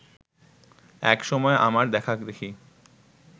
এক সময় আমার দেখাদেখি